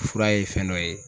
Fura ye fɛn dɔ ye.